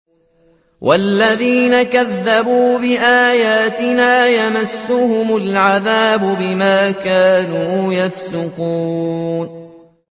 وَالَّذِينَ كَذَّبُوا بِآيَاتِنَا يَمَسُّهُمُ الْعَذَابُ بِمَا كَانُوا يَفْسُقُونَ